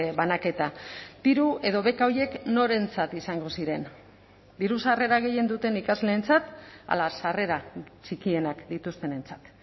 banaketa diru edo beka horiek norentzat izango ziren diru sarrera gehien duten ikasleentzat ala sarrera txikienak dituztenentzat